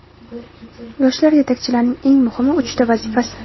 Yoshlar yetakchilarining eng muhim uchta vazifasi!.